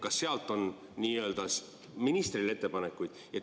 Kas sealt on ministrile ettepanekuid?